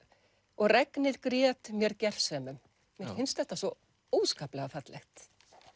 og regnið grét mér gersemum mér finnst þetta svo óskaplega fallegt